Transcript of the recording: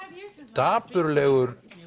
dapurlegur